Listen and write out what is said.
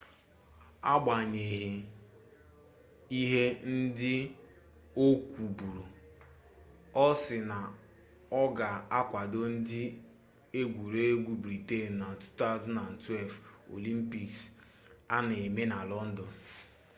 agbanyeghị ihe ndị o kwuburu ọ sị na ọ ga-akwado ndị egwuregwu briten na 2012 olimpiks a na-eme na lọndọn